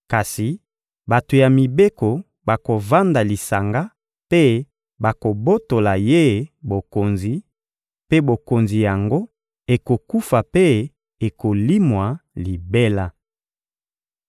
Kasi bato ya mibeko bakovanda lisanga mpe bakobotola ye bokonzi, mpe bokonzi yango ekokufa mpe ekolimwa libela.